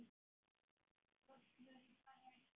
Fólk verður bara að giska.